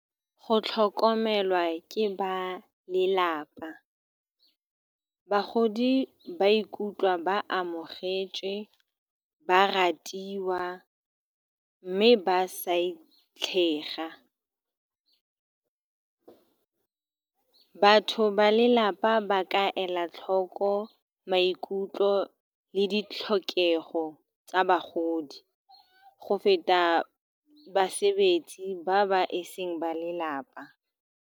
Go tlhokomelwa ke ba lelapa, bagodi ba ikutlwa ba amogetswe, ba ratiwa, mme ba sa itlhega. Batho ba lelapa ba ka ela tlhoko maikutlo le ditlhokego tsa bagodi go feta basebetsi ba ba eseng ba lelapa.